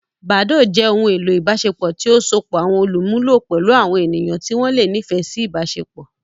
Badoo jẹ ohun elo ibaṣepọ ti o sopọ awọn olumulo pẹlu awọn eniyan ti wọn le nifẹ si ibaṣepọ.